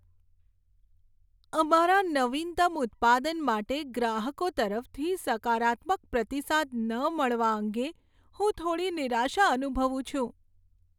અમારા નવીનતમ ઉત્પાદન માટે ગ્રાહકો તરફથી સકારાત્મક પ્રતિસાદ ન મળવા અંગે હું થોડી નિરાશા અનુભવું છું.